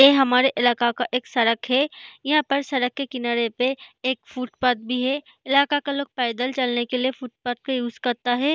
ए हमारे इलाका का एक सड़क है यहाँ पर सड़क के किनारे पे एक फुटपाथ भी है इलाका का लोग पैदल चलने के लिए फुटपाथ का यूज़ करता है।